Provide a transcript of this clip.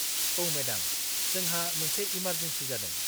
-औ मेडाम, जोंहा मोनसे इमारजेनसि जादों।